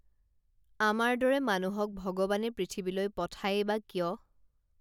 আমাৰ দৰে মানুহক ভগৱানে পৃথিৱীলৈ পঠায়ে বা কিয়